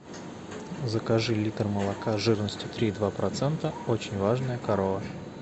закажи литр молока жирностью три и два процента очень важная корова